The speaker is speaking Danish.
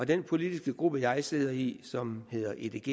den politiske gruppe jeg sidder i som hedder edg